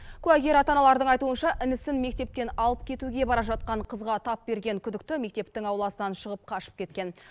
куәгер ата аналардың айтуынша інісін мектептен алып кетуге бара жатқан қызға тап берген күдікті мектептің ауласынан шығып қашып кеткен